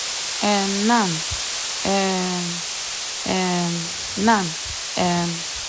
um nan um um nan um